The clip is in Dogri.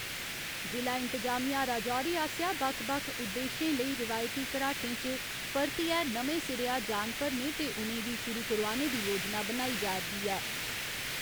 जि'ला इंतजामिया राजौरी आसेआ बक्ख बक्ख उद्देशें लेई रिवायती घराटें च परतियै नमें सिरेया जान भरने ते उ'नेंगी शुरु करोआने दी योजना बनाई जा'रदी ऐ।